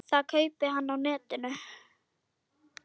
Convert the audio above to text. Það kaupi hann á netinu.